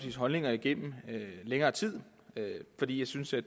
holdninger igennem længere tid fordi jeg synes at